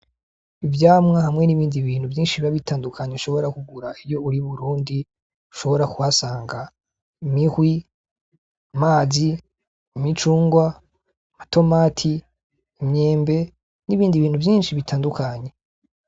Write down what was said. Ivyamwa hamwe n'ibindi bintu vyinshi bitandukanye ushobora kugura iyo uri iburundi ushobora kuhasanga: Imihwi, amazi, imicungwe, amatomati, imyembe, n'ibindi bintu vyinshi bitandukanye.